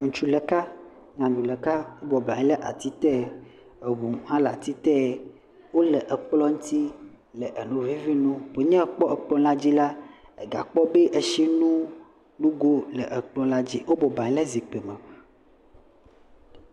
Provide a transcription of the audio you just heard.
Ŋutsu ɖeka, nyɔnu ɖeka bɔbɔnɔ anyi ɖe ati te. Eŋu hã le ati te. Wole ekplɔ ŋti le enu vivi nom wonye ekpɔ ekplɔa dzi la, ega kpɔ be etsi nonugo le ekplɔa dzi. Wobɔbɔnɔ anyi ɖe zikpui me.